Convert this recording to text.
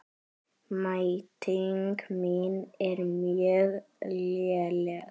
Mæting mín er mjög léleg.